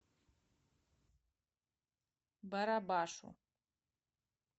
барабашу